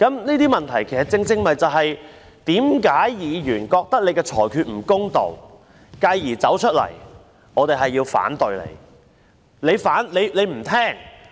這些問題正是議員覺得主席的裁決不公道，繼而要走出來提出反對的原因。